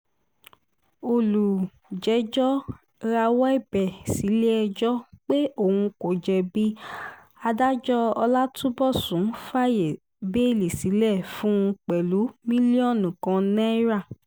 olùjẹ́jọ́ rawọ́ ẹ̀bẹ̀ sílẹ̀-ẹjọ́ pé òun kò jẹ̀bi adájọ́ ọlátúnbọ̀sùn fààyè bẹ́ẹ́lí sílẹ̀ fún un pẹ̀lú mílíọ̀nù kan náírà